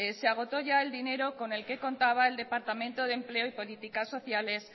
se agotó ya el dinero con el que contaba el departamento de empleo y políticas sociales